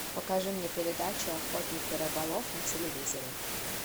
покажи мне передачу охотник и рыболов на телевизоре